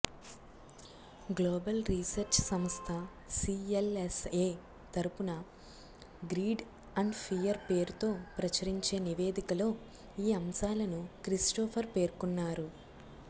global research సంస్థ CLSA తరఫున greed and fear పేరుతో ప్రచురించే నివేదికలో ఈ అంశాలను క్రిస్టోఫర్ పేర్కొన్నారు